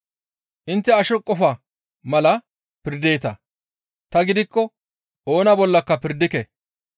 Intte asho qofa mala pirdeeta; tani gidikko oona bollaka pirdike.